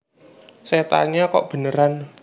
Setannya Kok Beneran